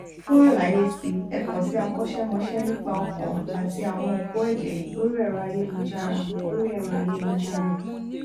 fún àlàyé si ẹ kàn sí akọṣémọṣẹ nípa ọkàn àti àwọnòpó ẹjẹ lórí ẹrọ ayélujára lórí ẹrọ ayélujára